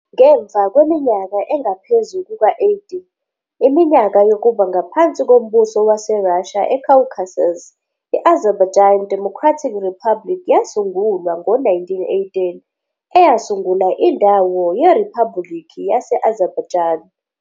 Ngemva kweminyaka engaphezu kuka-80. iminyaka yokuba ngaphansi koMbuso WaseRussia eCaucasus, i-Azerbaijan Democratic Republic yasungulwa ngo-1918 eyasungula indawo yeRiphabhulikhi yase-Azerbaijan.